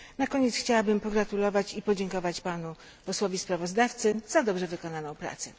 Na koniec chciałabym pogratulować i podziękować panu posłowi sprawozdawcy za dobrze wykonaną pracę.